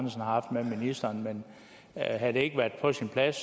haft med ministeren men havde det ikke været på sin plads